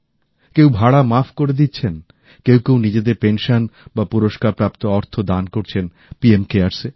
কেউ ভাড়া মাফ করে দিচ্ছেন কেউ কেউ নিজদের পেনশন বা পুরস্কারপ্রাপ্ত অর্থ দান করছেন পিএম কেয়ারস এ